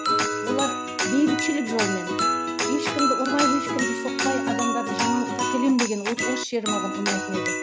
олар бейбітшілік жолмен ешкімді ұрмай ешкімді соқпай адамдарды жаңалыққа әкелемін деген вот осы жері маған ұнайтын еді